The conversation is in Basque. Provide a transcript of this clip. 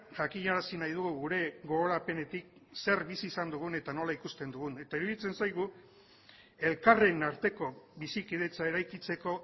jakinarazi nahi dugu gure gogorapenetik zer bizi izan dugun eta nola ikusten dugun eta iruditzen zaigu elkarren arteko bizikidetza eraikitzeko